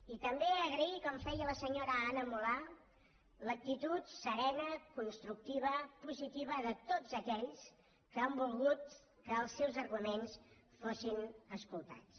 i també agrair com feia la senyora anna mulà l’actitud serena constructiva positiva de tots aquells que han volgut que els seus arguments fossin escoltats